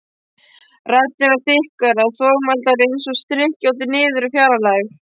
Raddirnar þykkar og þvoglumæltar einsog skrykkjóttur niður úr fjarlægð.